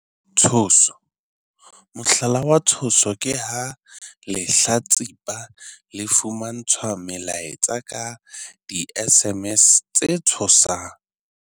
Tshoso- Mohlala wa tshoso ke ha lehlatsipa le fumantshwa melaetsa ka di-SMS tse tshosang.